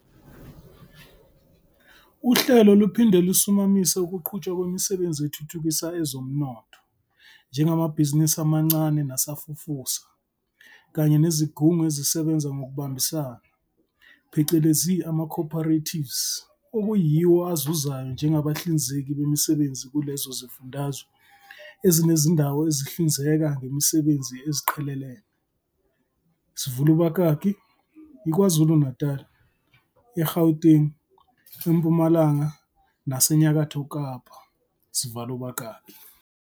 Uhlelo luphinde lusimamise ukuqhutshwa kwemisebenzi ethuthukisa ezomnotho njengamabhizinisi amancane nasafufusa kanye nezigungu ezisebenza ngokubambisana, phecelezi ama-co-operatives okuyiwo azuzayo njengabahlinzeki bemisebenzi kulezo zifundazwe ezinezindawo ezihlinzeka ngemisebenzi eziqhelelene, sivul' ubakaki, KwaZulu-Natali, eGauteng, eMpumalanga naseNyakatho Kapa, sival'ubakaki.